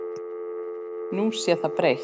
Nú sé það breytt.